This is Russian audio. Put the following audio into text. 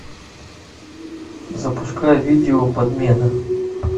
запускай видео подмена